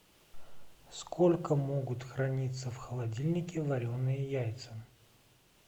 сколько могут храниться в холодильнике вареные яйца